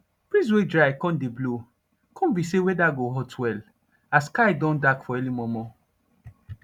breeze wey dry con dey blow con be say weather go hot well as sky don dark for early momo